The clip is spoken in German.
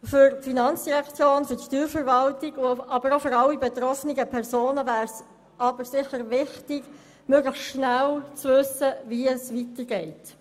Für die Finanzdirektion, für die Steuerverwaltung, aber auch für alle betroffenen Personen wäre es aber sicher wichtig, möglichst schnell zu wissen, wie es weitergeht.